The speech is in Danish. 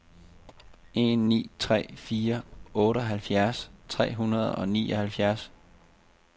en ni tre fire otteoghalvfjerds tre hundrede og nioghalvfjerds